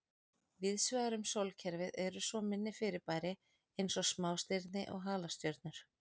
Víðsvegar um sólkerfið eru svo minni fyrirbæri eins og smástirni og halastjörnur.